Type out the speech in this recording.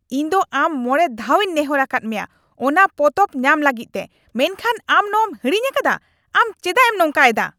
ᱤᱧ ᱫᱚ ᱟᱢ ᱢᱚᱬᱮ ᱫᱷᱟᱣᱤᱧ ᱱᱮᱦᱚᱨ ᱟᱠᱟᱫ ᱢᱮᱭᱟ ᱚᱱᱟ ᱯᱚᱛᱚᱵ ᱧᱟᱢ ᱞᱟᱹᱜᱤᱫ ᱛᱮ, ᱢᱮᱱᱠᱷᱟᱱ ᱟᱢ ᱱᱚᱣᱟᱢ ᱦᱤᱲᱤᱧ ᱟᱠᱟᱫᱟ, ᱟᱢ ᱪᱮᱫᱟᱜ ᱮᱢ ᱱᱚᱝᱠᱟᱭᱮᱫᱟ ?